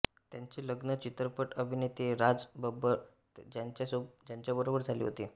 त्यांचे लग्न चित्रपट अभिनेते राज बब्बर यांच्याबरोबर झाले होते